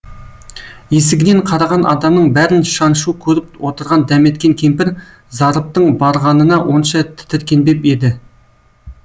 есігінен қараған адамның бәрін шаншу көріп отырған дәметкен кемпір зарыптың барғанына онша тітіркенбеп еді